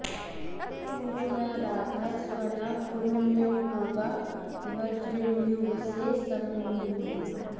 उ॒रू न राधः॒ सव॑ना पु॒रूण्य॒पो गा व॑ज्रिन्युवसे॒ समिन्दू॑न्